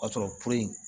O y'a sɔrɔ